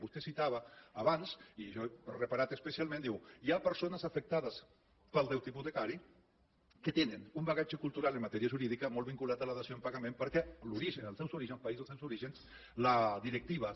vostè citava abans i jo hi he reparat especialment diu hi ha persones afectades pel deute hipotecari que tenen un bagatge cultural en matèria jurídica molt vinculat a la dació en pagament perquè a l’origen als seus orígens als països dels orígens les directives